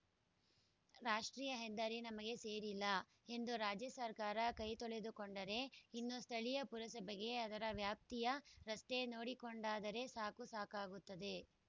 ರಾಷ್ಟ್ರೀಯ ಹೆದ್ದಾರಿ ನಮಗೆ ಸೇರಿಲ್ಲ ಎಂದು ರಾಜ್ಯ ಸರ್ಕಾರ ಕೈತೊಳೆದುಕೊಂಡರೆ ಇನ್ನು ಸ್ಥಳೀಯ ಪುರಸಭೆಗೆ ಅದರ ವ್ಯಾಪ್ತಿಯ ರಸ್ತೆ ನೋಡಿಕೊಂಡರೆ ಸಾಕು ಸಾಕಾಗುತ್ತದೆ